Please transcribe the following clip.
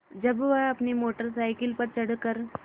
जब वह अपनी मोटर साइकिल पर चढ़ कर